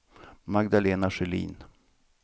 Magdalena Sjölin